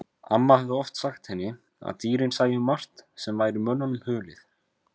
Amma hafði oft sagt henni að dýrin sæju margt sem væri mönnunum hulið.